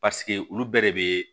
paseke olu bɛɛ de bee